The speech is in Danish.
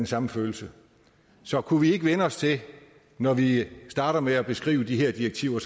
samme følelse så kunne vi ikke vænne os til når vi starter med at beskrive de her direktiver